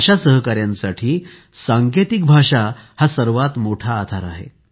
अशा सहकाऱ्यांसाठी सांकेतिक भाषा हा सर्वात मोठा आधार आहे